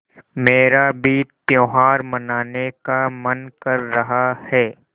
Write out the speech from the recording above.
मेरा भी त्यौहार मनाने का मन कर रहा है